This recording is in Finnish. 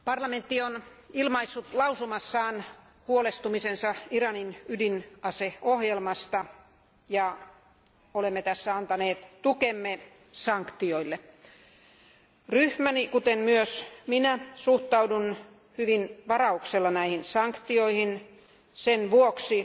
Arvoisa puhemies, parlamentti on ilmaissut päätöslauselmassaan huolestumisensa Iranin ydinaseohjelmasta ja olemme tässä antaneet tukemme sanktioille. Ryhmäni, kuten myös minä, suhtautuu hyvin varauksella näihin sanktioihin sen vuoksi,